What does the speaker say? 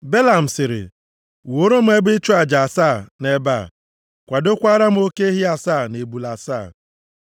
Belam sịrị, “Wuoro m ebe ịchụ aja asaa nʼebe a. Kwadokwaara m oke ehi asaa na ebule asaa.”